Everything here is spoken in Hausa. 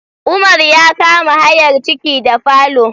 Umar ya ka ma hayar ciki da falo